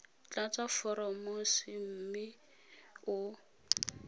tlatsa foromo c mme o